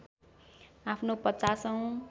आफ्नो ५० औँ